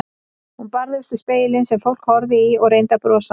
Hún barðist við spegilinn sem fólk horfði í og reyndi að brosa.